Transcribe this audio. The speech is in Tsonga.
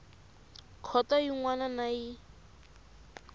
khoto yin wana na yin